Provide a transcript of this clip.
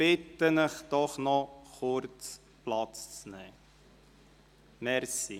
Ich bitte Sie doch, noch kurz Platz zu nehmen, vielen Dank.